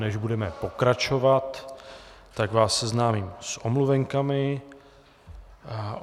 Než budeme pokračovat, tak vás seznámím s omluvenkami.